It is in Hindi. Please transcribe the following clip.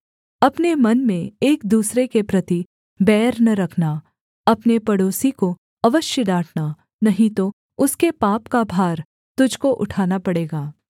अपने मन में एक दूसरे के प्रति बैर न रखना अपने पड़ोसी को अवश्य डाँटना नहीं तो उसके पाप का भार तुझको उठाना पड़ेगा